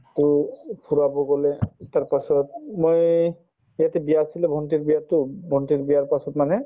to এই ফুৰাব গলে তাৰপাছত ইয়াতে বিয়া আছিলে ভণ্টীৰ বিয়াতো উম ভণ্টীৰ বিয়াৰ পাছত মানে